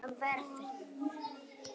Daníela, hvað geturðu sagt mér um veðrið?